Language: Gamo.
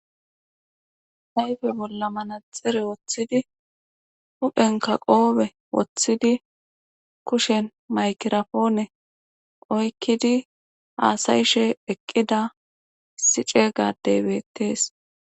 Ayfe bolla mana xire woththidi huphenka qoobe woththidi kushen maykirapoone oykkidi haasayishe eqqida sice gadey beettees.